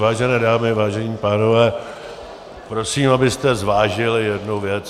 Vážené dámy, vážení pánové, prosím, abyste zvážili jednu věc.